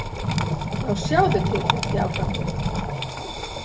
Já, sjáðu til, hélt ég áfram.